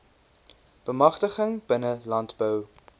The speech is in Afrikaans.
bemagtiging binne landbou